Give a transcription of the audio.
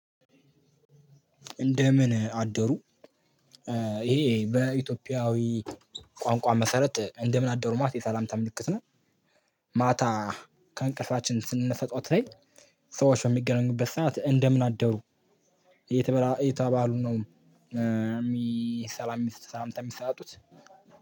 እንደምን አደሩ ይሄ በኢትዮጵያዊ ቋንቋ መሰረት እንደምን አደሩ ማት የሰላምታ ምልክት ነው። ማታ ከእንቅልፋችን ስንነሳ ጠዋት ላይ ሰዎች በሚገናኙበት ሰዓት እንደምን አደሩ። እየተበላ እየተባባሉ ነው የሚሰላም ሰላምታ የሚሰጣጡት